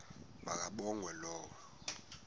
ma kabongwe low